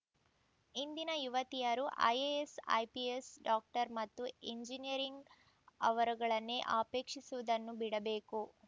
ಇಂದಿನ ಯುವತಿಯರು IAS IPS doctor ಮತ್ತು ಇಂಜಿನಿಯರ್‌ ವರಗಳನ್ನೇ ಅಪೇಕ್ಷಿಸುವುದನ್ನು ಬಿಡಬೇಕು